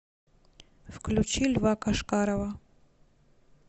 включи льва кошкарова